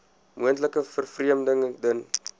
moontlike vervreemding ten